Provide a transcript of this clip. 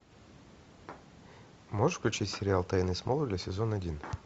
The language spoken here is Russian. можешь включить сериал тайны смолвиля сезон один